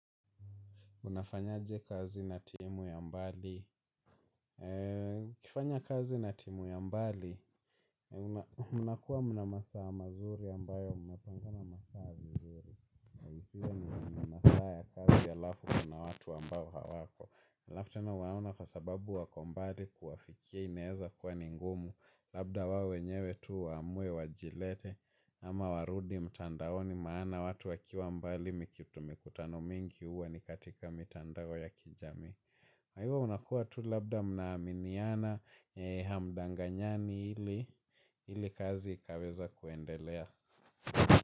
Unafanyaje kazi na timu ya mbali? Ukifanya kazi na timu ya mbali, mnakuwa mna masaa mazuri ambayo mnapangana masaa vizuri. Ujia ni mnamasaa ya kazi ya lafu kuna watu ambao hawako. aLaf tena waona kwa sababu wakombali kuwafikia ineeza kuwa ninngumu. Labda wao wenyewe tu wamue wajilete ama warudi mtandaoni maana watu wakiwa mbali mikitumikutano mingi uwa ni katika mitandao ya kijamii na hivo unakua tu labda mnaaminiana hamdanganyani ili ili kazi ikaweze kuendelea.